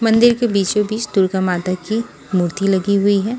मंदिर के बीचोंबीच दुर्गा माता की मूर्ति लगी हुई है।